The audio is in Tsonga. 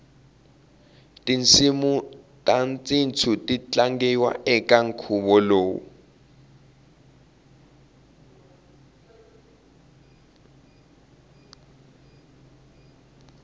tinsimutashintu titatlangiwa ekankhuvolowu